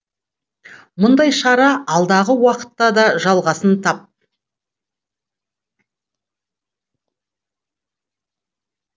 мұндай шара алдағы уақытта да жалғасын тап